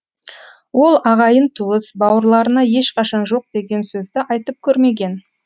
ол ағайын туыс бауырларына ешқашан жоқ деген сөзді айтып көрмеген